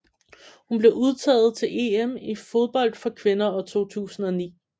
Hun blev udtaget til EM i fodbold for kvinder 2009